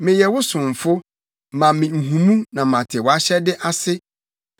Meyɛ wo somfo; ma me nhumu na mate wʼahyɛde ase.